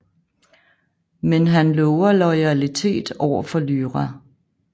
Men han lover loyaltitet overfor Lyra